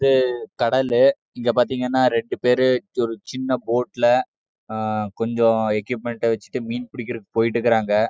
அது கடல் இங்க பார்த்துகேன ரெண்டு பேர் ஒரு சின்ன போர்ட்ல கொஞ்சோ ஏகுய்ப்மென்ட் வெச்சிட்டு மீன் புடிக்க போட்டுருக்காக